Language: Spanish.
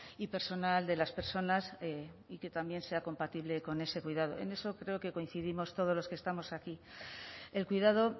y personal de las personas y que también sea compatible con ese cuidado en eso creo que coincidimos todos los que estamos aquí el cuidado